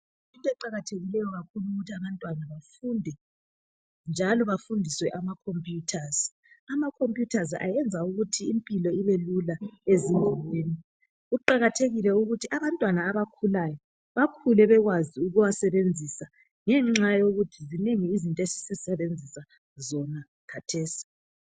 Into eqakathekileyo kakhulu yikuthi abantwana bafunde njalo bafundiswe ama computers. Ama computers ayenza ukuthi impilo ibe lula ezindaweni kuqakathekile ukuthi abantwana abakhulayo bakhule bekwazi ukuwasebenzisa ngenxa yokuthi zinengi izinto esizisebenzisa zona khathesi.